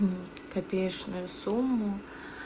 копеечную сумму